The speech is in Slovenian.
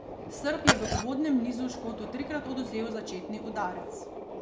Srb je v uvodnem nizu Škotu trikrat odvzel začetni udarec.